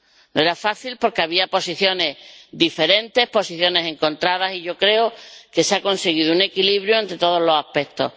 No era fácil porque había posiciones diferentes, posiciones encontradas, y yo creo que se ha conseguido un equilibrio entre todos los aspectos.